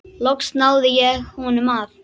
Loks náði ég honum af.